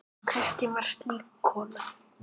Kristín var slík kona.